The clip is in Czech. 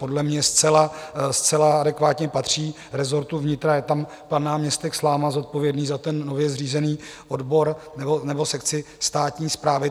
Podle mě zcela adekvátně patří rezortu vnitra, je tam pan náměstek Sláma zodpovědný za ten nově zřízený odbor nebo sekci státní správy.